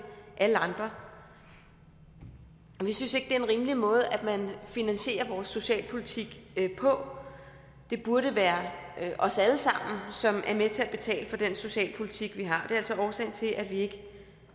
alle andre vi synes ikke det er en rimelig måde at finansiere vores socialpolitik på det burde være os alle sammen som er med til at betale for den socialpolitik vi har det er altså årsagen til at vi ikke